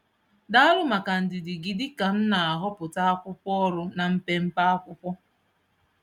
Daalu maka ndidi gị dị ka m na-ahọpụta akwụkwọ ọrụ na mpempe akwụkwọ.